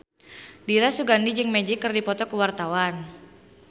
Dira Sugandi jeung Magic keur dipoto ku wartawan